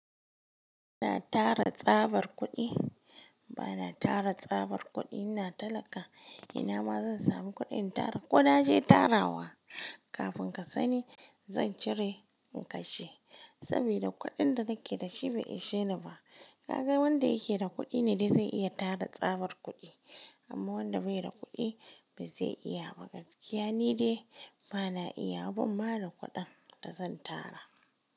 Ba na tara tsabar kuɗi, ba na tara tsabar kuɗi. Ina talaka, ina ma zan sami kuɗin tara ko na je tarawa. Kafin ka sani zan cire in kashe, saboda kuɗin da nake da shi bai isheni ba. Ka ga wanda yake da kuɗi ne zai iya tara tsabar kuɗi, amma wanda bai da kuɗi ba zai iya ba. Gaskiya ni dai bana iya wa. Ma da kuɗin da zan tara.